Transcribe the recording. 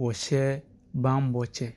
wɔhyɛ bammɔ kyɛ.